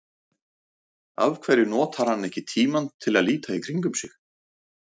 Af hverju notar hann ekki tímann til að líta í kringum sig?